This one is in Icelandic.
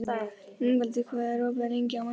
Ingvaldur, hvað er opið lengi á mánudaginn?